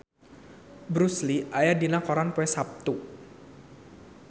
Bruce Lee aya dina koran poe Saptu